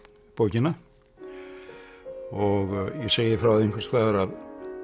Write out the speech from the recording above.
bókina og ég segi frá því einhvers staðar að